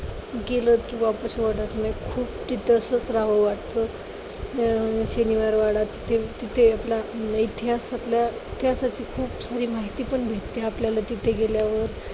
खूप तिथंच रहावं वाटतं. शनिवारवाडा तिथे आपला इतिहासातल्या इतिहासाची खूप खरी माहिती पण भेटत्या आपल्याला तिथे गेल्यावर.